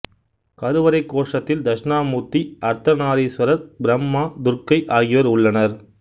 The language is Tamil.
கருவறை கோஷ்டத்தில் தட்சிணாமூர்த்தி அர்த்தநாரீஸ்வரர் பிரம்மா துர்க்கை ஆகியோர் உள்ளனர்